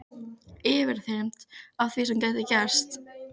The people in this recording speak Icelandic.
Yfirþyrmd af því sem gæti gerst.